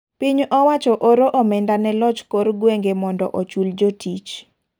Piny owacho oro omenda ne loch kor gweng'e mondo ochul jotich.